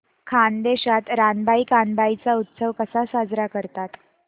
खानदेशात रानबाई कानबाई चा उत्सव कसा साजरा करतात